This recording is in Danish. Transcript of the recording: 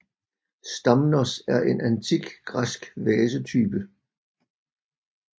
Stamnos er en antik græsk vasetype